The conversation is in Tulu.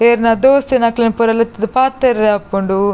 ಇರ್ನ ದೋಸ್ತಿನಕ್ಲೆನ್ ಪೂರ ಲೆತ್ತುದು ಪಾತೆರೆಗಾಪುಂಡು.